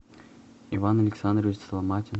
иван александрович соломатин